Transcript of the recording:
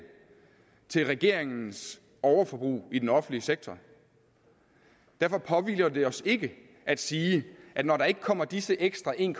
til regeringens overforbrug i den offentlige sektor derfor påhviler det os ikke at sige når der ikke kommer disse ekstra en